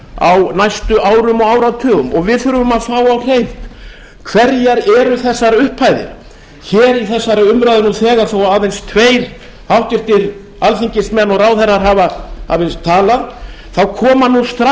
á næstu árum og áratugum og við þurfum á fá á hreint hverjar eru þessar upphæðir hér í þessari umræðu nú þegar aðeins tveir háttvirtir alþingismenn og ráðherrar hafa aðeins talað þá koma nú